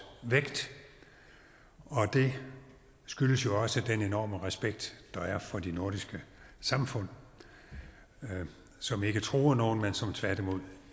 vægt og det skyldes jo også den enorme respekt der er for de nordiske samfund som ikke truer nogen men som tværtimod